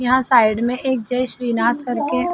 यहाँ साइड में एक जय श्रीनाथ करके --